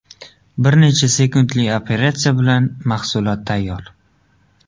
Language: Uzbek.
Bir necha sekundli operatsiya bilan mahsulot tayyor.